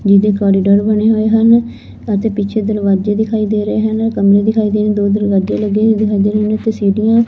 ਜਿਦੇ ਕੋਰੀਡੋਰ ਬਣੇ ਹੋਏ ਹਨ ਅਤੇ ਪਿੱਛੇ ਦਰਵਾਜ਼ੇ ਦਿਖਾਈ ਦੇ ਰਹੇ ਹਨ ਕਮਰੇ ਦਿਖਾਈ ਦੇ ਰਹੇ ਦੋ ਦਰਵਾਜੇ ਲੱਗੇ ਹੋਏ ਦਿਖਾਈ ਦੇ ਰਹੇ ਅਤੇ ਸੀਟੀਆਂ--